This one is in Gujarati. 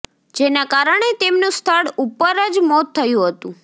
જેના કારણે તેમનું સ્થળ ઉપર જ મોત થયું હતું